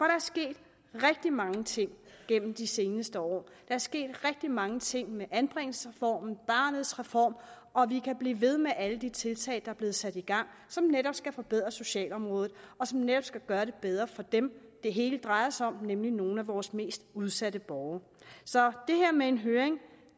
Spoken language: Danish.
er sket rigtig mange ting gennem de seneste år der er sket rigtig mange ting med anbringelsesreformen barnets reform og vi kan blive ved med at nævne alle de tiltag der er blevet sat i gang som netop skal forbedre socialområdet og som netop skal gøre det bedre for dem det hele drejer sig om nemlig nogle af vores mest udsatte borgere så det her med en høring